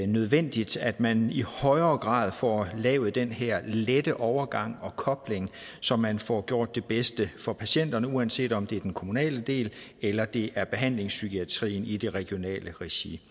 nødvendigt at man i højere grad får lavet den her lette overgang og kobling så man får gjort det bedste for patienterne uanset om det er den kommunale del eller det er behandlingpsykiatrien i det regionale regi